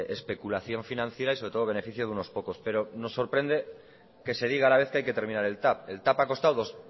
especulación financiera y sobre todo beneficio de unos pocos pero nos sorprende que se diga a la vez que hay que terminar el tav el tav ha costado